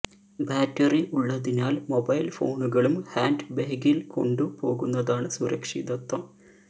battery ഉള്ളതിനാല് mobile ഫോണുകളും hand ബേഗില് കൊണ്ടു പോകുന്നതാണ് സുരക്ഷിതത്വം